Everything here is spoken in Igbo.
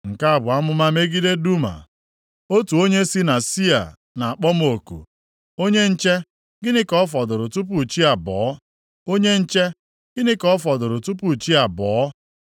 Nke a bụ amụma megide Duma: Otu onye si na Sia na-akpọ m oku, “Onye nche, gịnị ka ọ fọdụrụ tupu chi abọọ? Onye nche, gịnị ka ọ fọdụrụ tupu chi abọọ?”